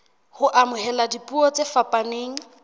ho amohela dipuo tse fapaneng